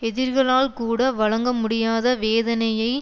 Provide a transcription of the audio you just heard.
எதிரிகளால்கூட வழங்க முடியாத வேதனையை